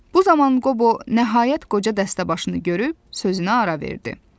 Bu zaman Qobo nəhayət qoca dəstəbaşını görüb sözünə ara verdi.